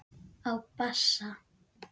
Á bassa.